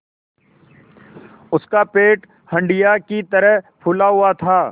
उसका पेट हंडिया की तरह फूला हुआ था